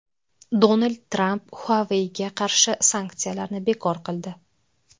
Donald Tramp Huawei’ga qarshi sanksiyalarni bekor qildi.